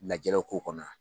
Lajɛrew k' kɔnɔ an.